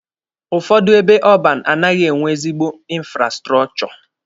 Ụfọdụ ebe ọban anaghị enwe ezigbo infrastrọchọ.